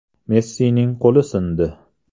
Messining qo‘li sindi.